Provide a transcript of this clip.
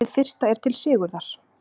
Hið fyrsta er til Sigurðar